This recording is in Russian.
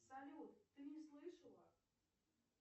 салют ты не слышала